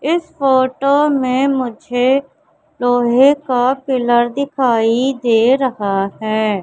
इस फोटो में मुझे लोहे का पिलर दिखाई दे रहा है।